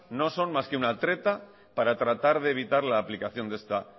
no son más que una treta para tratar de evitar la aplicación de esta